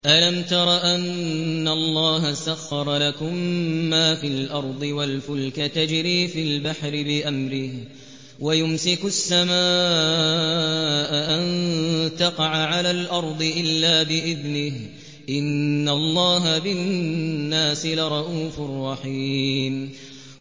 أَلَمْ تَرَ أَنَّ اللَّهَ سَخَّرَ لَكُم مَّا فِي الْأَرْضِ وَالْفُلْكَ تَجْرِي فِي الْبَحْرِ بِأَمْرِهِ وَيُمْسِكُ السَّمَاءَ أَن تَقَعَ عَلَى الْأَرْضِ إِلَّا بِإِذْنِهِ ۗ إِنَّ اللَّهَ بِالنَّاسِ لَرَءُوفٌ رَّحِيمٌ